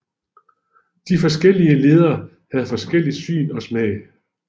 De forskellige ledere havde forskelligt syn og smag